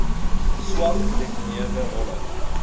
swak gedefinieerde rolle